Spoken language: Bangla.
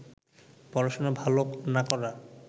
পড়াশোনা ভালো না করা